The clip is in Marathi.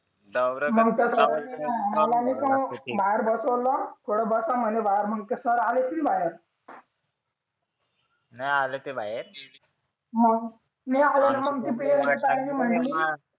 बाहेर बसवलं थोडं बसा म्हणे बाहेर मग सर आले की बाहेर नाही आले ते बाहेर मग मी आले